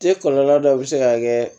E kɔlɔlɔ dɔ bɛ se ka kɛ